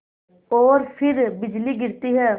और फिर बिजली गिरती है